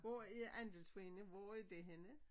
Hvor er andelsforeningen hvor er det henne?